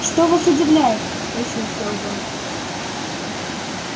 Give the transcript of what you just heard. что вас удивляет спросил сэлдон